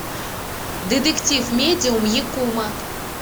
детектив медиум якумо